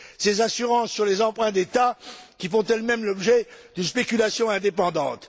ces assurances sur les emprunts d'État, qui font elles mêmes l'objet de spéculations indépendantes.